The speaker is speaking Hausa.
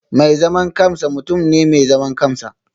Mai zaman kansa mutum ne mai zaman kansa